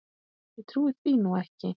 Ég trúi því nú ekki!